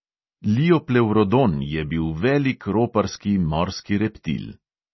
Lioplevrodon je bil velik roparski morski reptil.